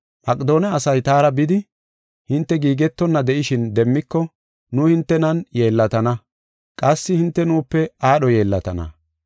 Maqedoone asay taara bidi, hinte giigetonna de7ishin, demmiko, nu hintenan yeellatana; qassi hinte nuupe aadho yeellatana.